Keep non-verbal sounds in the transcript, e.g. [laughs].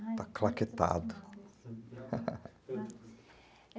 Está claquetado [laughs] [unintelligible]